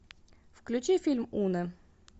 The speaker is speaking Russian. включи фильм уно